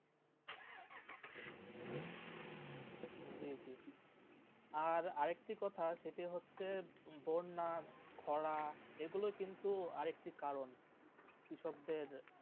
জি জি আর একটি কথা শেঠি হচ্ছে বন্যা খোঁড়া যে গুলু কিন্তু আর একটি কারণ যে সব দের.